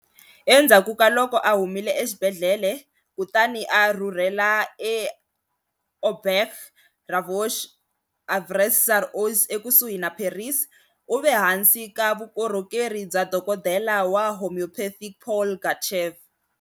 Endzhaku ka loko a humile exibedhlele kutani a rhurhela eAuberge Ravoux eAuvers-sur-Oise ekusuhi na Paris, u ve ehansi ka vukorhokeri bya dokodela wa homeopathic Paul Gachet.